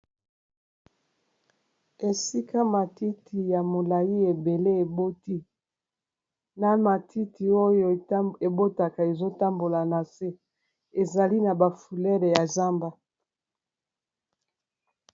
Esika matiti ya molayi ebele eboti na matiti oyo ebotaka ezotambola na se ezali na bafulele ya zamba.